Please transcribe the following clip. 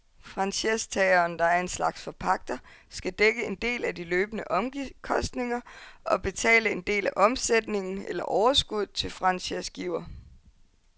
Franchisetageren, der er en slags forpagter, skal dække en del af de løbende omkostninger og betale en del af omsætningen eller overskuddet til franchisegiver.